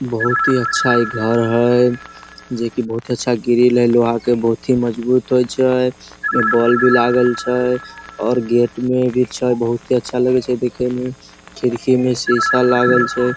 बहुत ही अच्छा इ घर हेय जेकी बहुत ही अच्छा ग्रील हेय लोहा के बहुत ही मजबूत होय छै बोल भी लागल छै और गेट भी छै बहुत अच्छा लगे हेय देखे मे खिड़की में शीशा लगल छै।